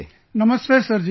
Namaste Sir ji